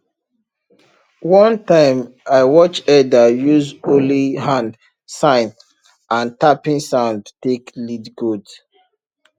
one time i watch elder use only hand sign and tapping sound take lead goats